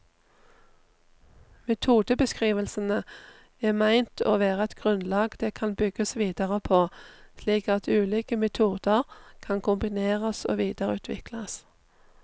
Metodebeskrivelsene er ment å være et grunnlag det kan bygges videre på, slik at ulike metoder kan kombineres og videreutvikles.